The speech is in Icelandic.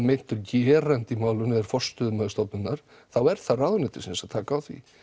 meintur gerandi í málinu er forstöðumaður stofnunnar þá er það ráðuneytisins að taka á því